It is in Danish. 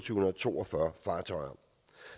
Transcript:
to og fyrre fartøjer